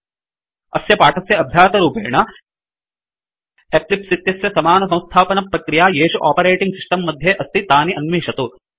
अस्य पाठस्य अभ्यासरूपेण एक्लिप्स इत्यस्य समानसम्स्थापनप्रक्रिया येषु आपरेटिंग् सिस्टम् मध्ये अस्ति तानि अन्विषतु